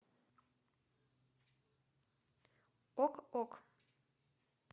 ок ок